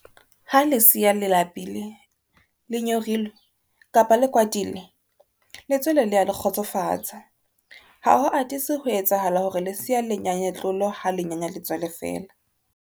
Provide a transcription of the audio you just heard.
Ha lesea le lapile, le nyorilwe kapa le kwatile, letswele le a le kgotsofatsa. Ha ho atise ho etsahala hore lesea le nyanye tlolo ha le nyanya letswele feela.